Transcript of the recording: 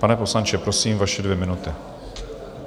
Pane poslanče, prosím, vaše dvě minuty.